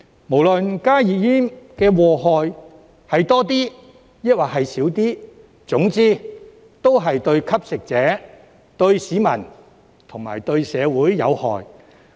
不論加熱煙的禍害是多一點抑或少一點，總之都是對吸食者、市民、社會有害。